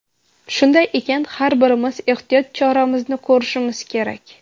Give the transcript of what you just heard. Shunday ekan, har birimiz ehtiyot choramizni ko‘rishimiz kerak.